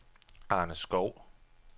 Arne Schou